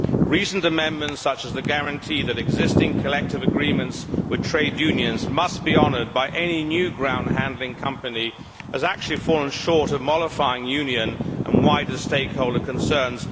Recent amendments, such as the guarantee that existing collective agreements with trade unions must be honoured by any new ground handling company, have actually fallen short of mollifying union and wider stakeholder concerns.